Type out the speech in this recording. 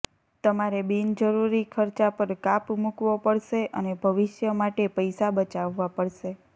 તમારે બિનજરૂરી ખર્ચા પર કાપ મૂકવો પડશે અને ભવિષ્ય માટે પૈસા બચાવવા પડશે